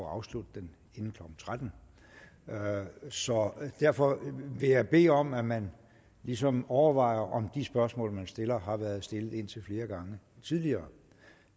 at afslutte den inden klokken tretten så derfor vil jeg bede om at man ligesom overvejer om de spørgsmål man stiller har været stillet indtil flere gange tidligere